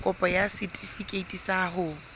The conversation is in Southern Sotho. kopo ya setefikeiti sa ho